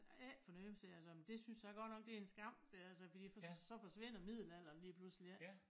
Ikke for noget sagde jeg så men det synes jeg godt nok det en skam sagde jeg så fordi så forsvinder middelalderen lige pludselig ik